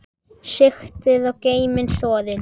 Sigtið og geymið soðið.